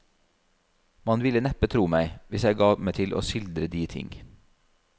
Man ville neppe tro meg, hvis jeg ga meg til å skildre de ting.